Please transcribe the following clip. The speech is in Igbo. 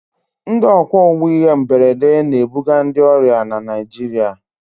Ndị ọkwọ ụgbọ ihe mberede na-ebuga ndị ọrịa na Naịjirịa.